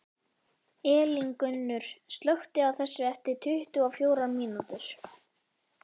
Elíngunnur, slökktu á þessu eftir tuttugu og fjórar mínútur.